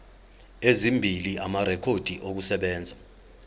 ezimbili amarekhodi okusebenza